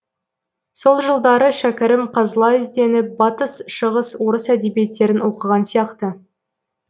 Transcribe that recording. сол жылдары шәкәрім қазыла ізденіп батыс шығыс орыс әдебиеттерін оқыған сияқты